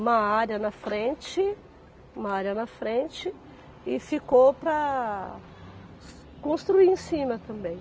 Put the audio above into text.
Uma área na frente, uma área na frente e ficou para construir em cima também.